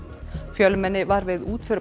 fjölmenni var við útför